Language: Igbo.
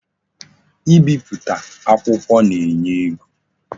I bipụta akwukwo na-enye ego.